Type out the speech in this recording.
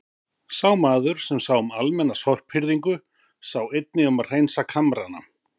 Sá maður, sem sá um almenna sorphirðingu, sá einnig um að hreinsa kamrana.